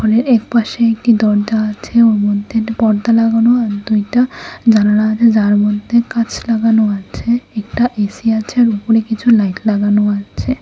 এর এক পাশে একটি দরজা আছে ওর মধ্যে একটা পর্দা লাগানো আর দুইটা জানালা আছে যার মধ্যে কাঁচ লাগানো আছে একটা এসি আছে আর উপরে কিছু লাইট লাগানো আছে।